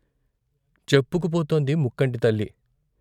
చెప్పుకుపోతోంది ముక్కంటి తల్లి.